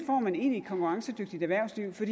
man egentlig får et konkurrencedygtigt erhvervsliv for